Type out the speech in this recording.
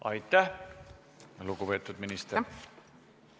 Aitäh, lugupeetud minister!